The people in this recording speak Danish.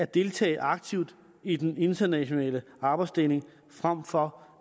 deltager aktivt i den internationale arbejdsdeling frem for